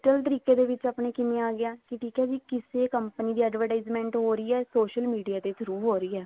ਤਰੀਕੇ ਦੇ ਵਿੱਚ ਆਪਣੇ ਕਿਵੇਂ ਆਗਿਆ ਵੀ ਕਿਸੇ company ਦੀ advertisement ਹੋ ਰਹੀ ਹੈ social media ਦੇ through ਹੋ ਰਹੀ ਹੈ